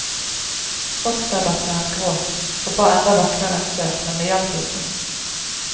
Fosterdatteren gråt og ba enda vakrere enn før, men det hjalp ikke.